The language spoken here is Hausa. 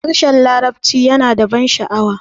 harshen larabci yana ban sha'awa